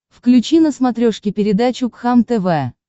включи на смотрешке передачу кхлм тв